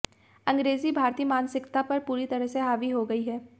अंग्रेज़ी भारतीय मानसिकता पर पूरी तरह से हावी हो गई है